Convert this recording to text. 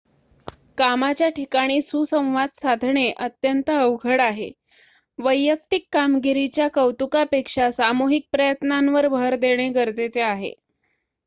कामाच्या ठिकाणी सुसंवाद साधणे अत्यंत अवघड आहे वैयक्तिक कामगिरीच्या कौतुकापेक्षा सामूहिक प्रयत्नांवर भर देणे गरजेचे आहे